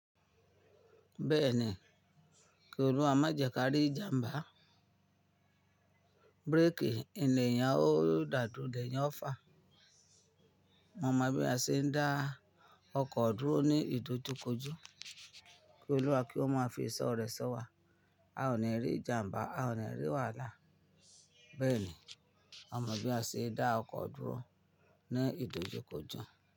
Bẹ́ẹ̀ni, kí olúwa má jẹ ká rí ìjàmbá, bírèkì in le eeyan o dá du o, le eeyan ofà, mo mọ̀ bí a ṣe ń dá ọkọ̀ dúró ní ìdojúkójú, kí olúwa kí ó má fí iṣo rẹ so wa, a ò ní rí ìjàmbá, a ò ní rí wàhálà. Bẹ́ẹ̀ni, a mọ̀ bí a ṣe ń dá ọkọ̀ dúró ní ìdojúkójú.